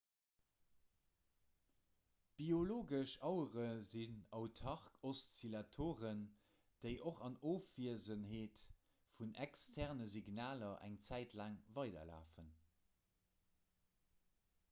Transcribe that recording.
biologesch auere sinn autark oszillatoren déi och an ofwiesenheet vun externe signaler eng zäit laang weiderlafen